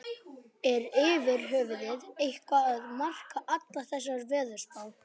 Er yfir höfuð eitthvað að marka allar þessar veðurspár?